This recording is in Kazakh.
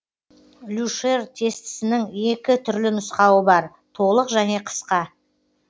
люшер тестісінің екі түрлі нұсқауы бар толық және қысқа